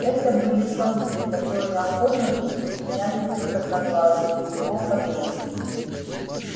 это были самцы которые охотно присоединялись бы к одноглазому и его подруге